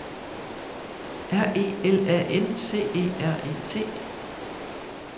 R E L A N C E R E T